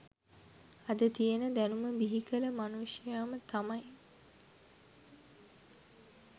අද තියෙන දැනුම බිහිකල මනුෂ්‍යයම තමයි